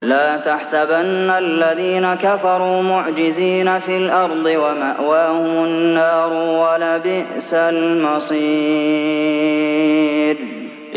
لَا تَحْسَبَنَّ الَّذِينَ كَفَرُوا مُعْجِزِينَ فِي الْأَرْضِ ۚ وَمَأْوَاهُمُ النَّارُ ۖ وَلَبِئْسَ الْمَصِيرُ